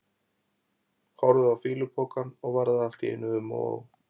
Horfði á fýlupokann og varð allt í einu um og ó.